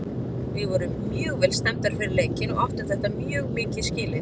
Við vorum mjög vel stemmdar fyrir leikinn og áttum þetta mjög mikið skilið.